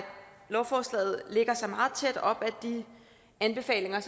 lovforslaget lægger sig meget tæt op af de anbefalinger